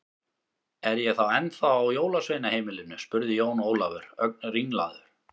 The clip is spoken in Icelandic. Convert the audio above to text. Er ég þá ennþá á jólasveinaheimilinu spurði Jón Ólafur, ögn ringlaður.